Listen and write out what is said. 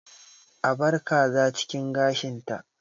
A bar kaza cikin gashinta!